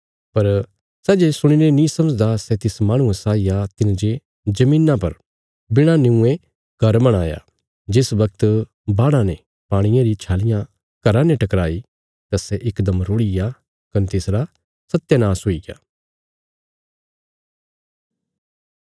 पर सै जे सुणीने नीं मनदा सै तिस माहणुये साई आ तिने जे धरतिया पर बिणा निऊंये घर बणाया जिस बगत बाढ़ा ने पाणिये री छालियां घराने टकराई तां सै इकदम रुढ़िग्या कने तिसरा सत्यानाश हुईग्या